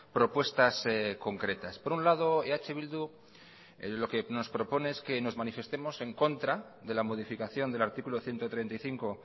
propuestas concretas por un lado eh bildu lo que nos propone es que nos manifestemos en contra de la modificación del artículo ciento treinta y cinco